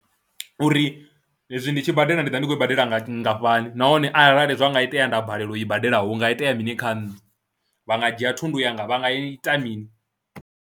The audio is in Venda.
Uri hezwi ndi tshi badela ndi ḓo vha ndi khou i badela nga nngafhani nahone arali zwa nga itea nda balelwa u i badela hu nga itea mini kha nṋe, vha nga dzhia thundu yanga, vha nga ita mini.